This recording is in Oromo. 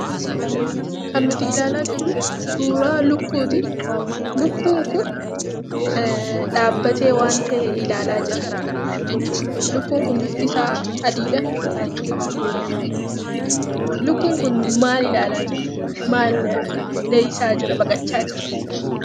Kan nuti ilaalaa jirru suuraa lukkuuti. Lukkuun kun dhaabbatee waaan ta'e ilaalaa jira. Lukkuun kun bifti isaa adiidha. Lukkuun kun maal ilaalaa jira? maal dheeyisaa jira? baqachaa jira?